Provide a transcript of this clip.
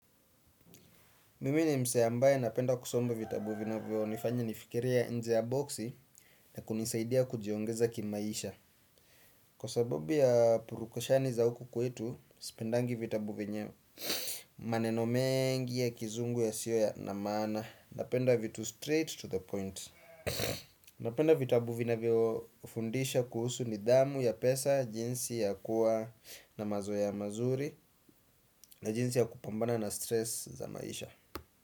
Mimi ni msee ambaye napenda kusoma vitabu vinavyo nifanya nifikirie nje ya boksi na kunisaidia kujiongeza kimaisha. Kwa sababu ya purukoshani za huku kwetu, sipendangi vitabu venye maneno mengi ya kizungu yasio na maana. Napenda vitu straight to the point. Napenda vitabu vinavyo fundisha kuhusu nidhamu ya pesa, jinsi ya kuwa na mazoea mazuri na jinsi ya kupambana na stress za maisha.